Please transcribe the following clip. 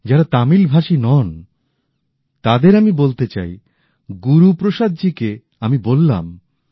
যারা তামিল ভাষী নন তাদের আমি বলতে চাই গুরুপ্রসাদজীকে আমি বললাম